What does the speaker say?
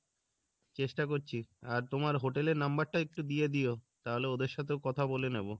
চেষ্টা করছি আর তোমার hotel এর number টা একটু দিয়ে দিয়ো তাহলে ওদের সাথেও কথা বলে নেবো